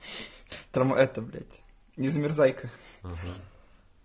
там эта блядь незамерзайка